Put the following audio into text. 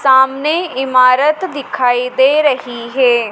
सामने इमारत दिखाई दे रही है।